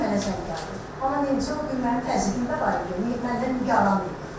Zamiqdən mənə zəng gəldi, amma neynirəm, o bir mənim təzyiqimdə var idi, məndən meyarım yox idi.